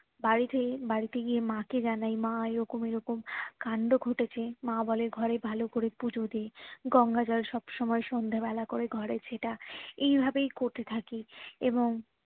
বাড়িতেই বাড়িতে গিয়ে মা কে জানাই মা এরকম এরকম কাণ্ড ঘটেছে মা বলে ঘরে ভালো করে পুজো দিয়ে গঙ্গা জল সব সময়ে সন্ধ্যা বেলায় করে ঘরে ছেটা এই ভাবেই করতে থাকি এবং